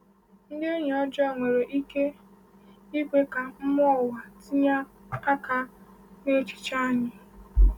Ndị enyi ọjọọ nwere ike ikwe ka mmụọ ụwa tinye aka n’echiche anyị.